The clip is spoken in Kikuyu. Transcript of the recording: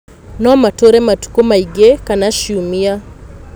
No matũũre matukũ maingĩ kana ciumia.